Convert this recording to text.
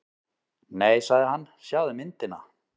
Nei sagði hann, sjáðu myndina.